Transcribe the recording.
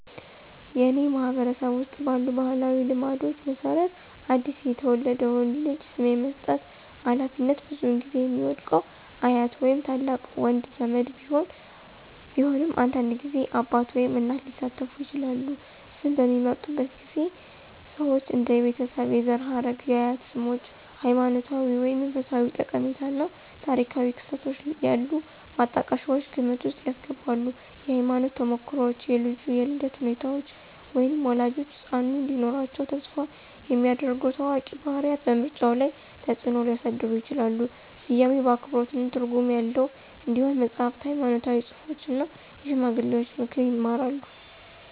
ያትአኔ ማህበረሰብ ውስጥ ባሉ ባህላዊ ልማዶች መሰረት አዲስ የተወለደውን ልጅ ስም የመስጠት ሃላፊነት ብዙውን ጊዜ የሚወድቀው አያት ወይም ታላቅ ወንድ ዘመድ ቢሆንም አንዳንድ ጊዜ አባት ወይም እናት ሊሳተፉ ይችላሉ። ስም በሚመርጡበት ጊዜ ሰዎች እንደ የቤተሰብ የዘር ሐረግ፣ የአያት ስሞች፣ ሃይማኖታዊ ወይም መንፈሳዊ ጠቀሜታ እና ታሪካዊ ክስተቶች ያሉ ማጣቀሻዎችን ግምት ውስጥ ያስገባሉ። የህይወት ተሞክሮዎች, የልጁ የልደት ሁኔታዎች, ወይም ወላጆች ህጻኑ እንዲኖራቸው ተስፋ የሚያደርጉ ታዋቂ ባህሪያት በምርጫው ላይ ተጽእኖ ሊያሳድሩ ይችላሉ. ስያሜው አክብሮትና ትርጉም ያለው እንዲሆን መጽሐፍትን፣ ሃይማኖታዊ ጽሑፎችን እና የሽማግሌዎችን ምክር ይማራሉ።